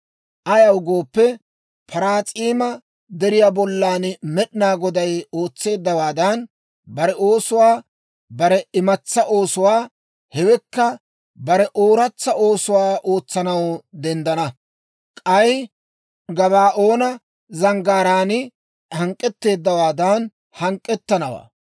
Ayaw gooppe, Paraas'iima Deriyaa bollan Med'inaa Goday ootseeddawaadan, bare oosuwaa, bare imatsaa oosuwaa, hewekka bare ooratsa oosuwaa ootsanaw denddana. K'ay Gabaa'oona zanggaaraan hank'k'etteeddawaadan hank'k'ettanawaa.